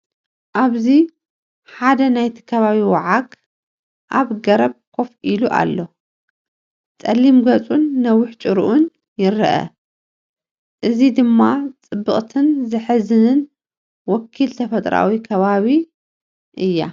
ኣብዚ፡ ሓደ ናይቲ ከባቢ ዋዓግ ኣብ ገረብ ኮፍ ኢሉ ኣሎ። ጸሊም ገጹን ነዊሕ ጭራኡን ይርአ። እዚ ድማ ጽብቕትን ዘሕዝንን ወኪል ተፈጥሮኣዊ ከባቢኣ እያ።